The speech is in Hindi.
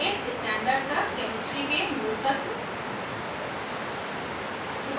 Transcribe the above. viii standard तक chemistry के मूलतत्व